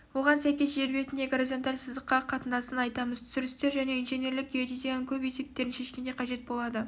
оған сәйкес жер бетіндегі горизонталь сызыққа қатынасын айтамыз түсірістер және инженерлік геодезияның көп есептерін шешкенде қажет болады